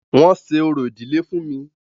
Wọ́n ṣe orò ìdílé fún mí.